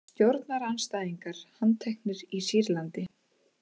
Stjórnarandstæðingar handteknir í Sýrlandi